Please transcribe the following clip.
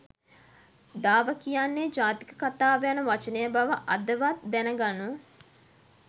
දාව කියන්නේ ජාතක කතාව යන වචනය බවඅදවත් දැනගනු